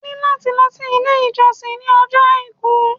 Ẹ ní láti lọ sí ilé-ìjọsìn ní ọjọ́ Àìkú.